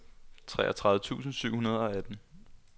treogtredive tusind syv hundrede og atten